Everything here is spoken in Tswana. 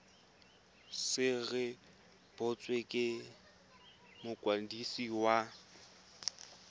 se rebotswe ke mokwadisi wa